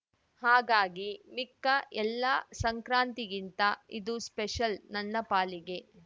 ಹಾಗಾಗಿ ಮಿಕ್ಕ ಎಲ್ಲಾ ಸಂಕ್ರಾಂತಿಗಿಂತ ಇದು ಸ್ಪೆಷಲ್‌ ನನ್ನ ಪಾಲಿಗೆ